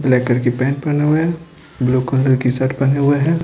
Black colour की pant पहने हुए हैं ब्लू कलर की शर्ट पहने हुए हैं।